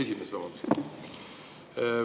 Esimees, vabandust!